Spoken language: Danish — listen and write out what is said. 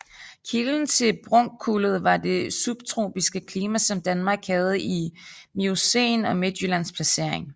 Kilden til brunkullet var det subtropiske klima som Danmark havde i Miocæn og Midtjyllands placering